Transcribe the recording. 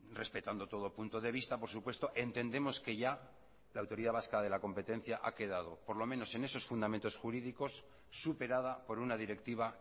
respetando todo punto de vista por supuesto entendemos que ya la autoridad vasca de la competencia ha quedado por lo menos en esos fundamentos jurídicos superada por una directiva